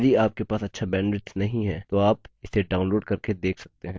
यदि आपके पास अच्छा bandwidth नहीं है तो आप इसे download करके देख सकते हैं